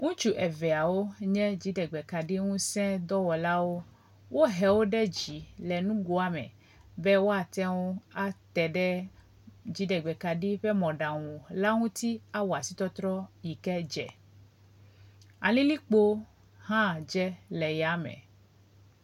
Ŋutsu eveawo nye dziɖegbekaɖiŋuse dɔwɔlawó, wóhewó ɖe dzii le nugoa me be woateŋu ateɖe dziɖegbekaɖi ƒe mɔɖaŋu la ŋuti awɔ asitɔtrɔ yike dze, alilikpo hã dze le yame